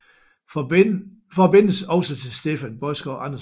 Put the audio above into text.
Forbindes også til Steffen Baadsgaard Andersen